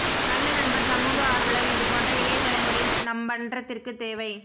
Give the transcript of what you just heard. நல்ல நண்பர் சமூக ஆர்வலர் இதுபோன்ற இளைய தலைமுறை நம்மன்றதிற்கு தேவை